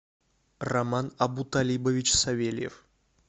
роман абуталибович савельев